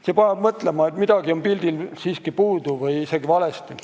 See paneb mõtlema, et midagi on pildilt siiski puudu või isegi valesti.